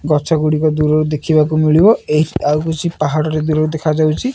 ଗଛ ଗୁଡିକ ଦୂରରୁ ଦେଖିବାକୁ ମିଳିବ ଏହି ଆଉ କିଛି ପାହାଡ ଟେ ଦୂରରୁ ଦେଖାଯାଉଚି ।